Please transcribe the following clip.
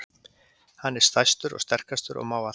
Hann er stærstur og sterkastur og má allt.